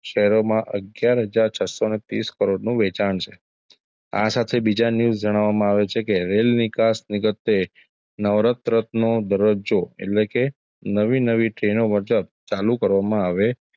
શેરોમાં અગિયાર હજાર છસ્સો ને ત્રીસ કરોડનું વેચાણ છે આ સાથે બીજા news જણાવવામાં આવે છે કે રેલ નિકાસ નીગતે નવરત્નનો દરજ્જો એટલે કે નવી- નવી train નો ચાલુ કરવામાં આવે,